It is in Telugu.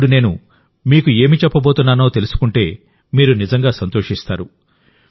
ఇప్పుడు నేను మీకు ఏమి చెప్పబోతున్నానో తెలుసుకుంటేమీరు నిజంగా సంతోషిస్తారు